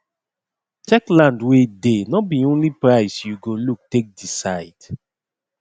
check land wey dey nor be only price you go look take decide